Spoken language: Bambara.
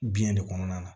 Biɲɛ de kɔnɔna na